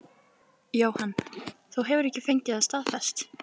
Jóhann: Þú hefur ekki fengið það staðfest?